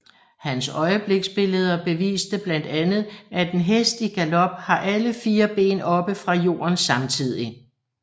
Hans øjebliksbilleder beviste blandt andet at en hest i galop har alle fire ben oppe fra jorden samtidig